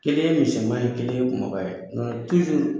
Kelen ye misɛnman ye kelen ye kumaba ye , nga